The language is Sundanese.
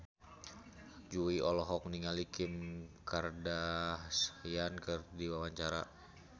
Jui olohok ningali Kim Kardashian keur diwawancara